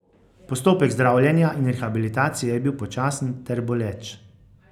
Postopek zdravljenja in rehabilitacije je bil počasen ter boleč.